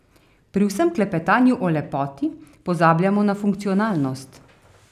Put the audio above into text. Pri vsem klepetanju o lepoti pozabljamo na funkcionalnost.